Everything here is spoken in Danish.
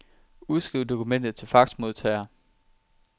Udskriv dokumentet til faxmodtager.